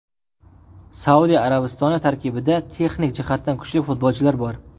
Saudiya Arabistoni tarkibida texnik jihatdan kuchli futbolchilar bor.